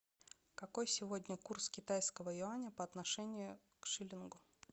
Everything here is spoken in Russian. какой сегодня курс китайского юаня по отношению к шиллингу